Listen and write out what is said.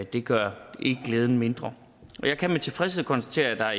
det gør ikke glæden mindre jeg kan med tilfredshed konstatere at